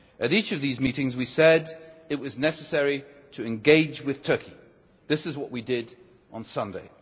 At each of these meetings we said it was necessary to engage with Turkey and this is what we did on Sunday.